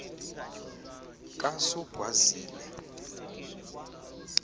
kasogwazile